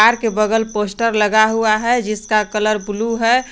Car के बगल poster लगा हुआ है जिसका कलर ब्लू है।